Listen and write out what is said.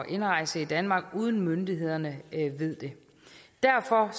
indrejse i danmark uden at myndighederne ved det derfor